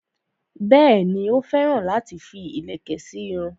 Bẹ́ẹ̀ni, ó féràn láti fi ìlẹ̀kẹ̀ sí irun rẹ̀